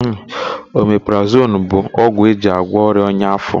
Omeprazonu bụ ogwụ eji agwọ ọrịa ọnya áfó.